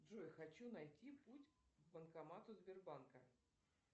джой хочу найти путь к банкомату сбербанка